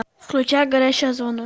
включай горящая зона